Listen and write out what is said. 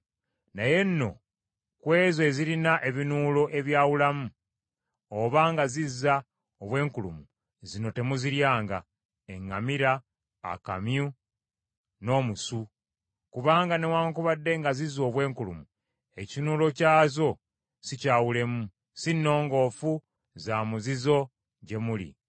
Naye nno ku ezo ezirina ebinuulo ebyawulamu oba nga zizza obwenkulumu, zino temuziryanga: eŋŋamira, akamyu, n’omusu. Kubanga newaakubadde nga zizza obwenkulumu, ekinuulo kyazo sikyawulemu, si nnongoofu za muzizo gye muli.